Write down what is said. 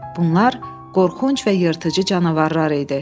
Bunlar qorxunc və yırtıcı canavarlar idi.